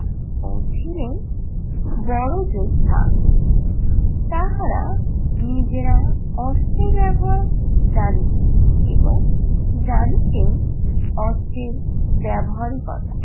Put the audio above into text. ও ছিলেন বড় যোদ্ধা তাহারা নিজেরা অস্ত্রের ব্যবহার জানিতেন এবং জানিতেন অস্ত্রের ব্যবহারিকতা।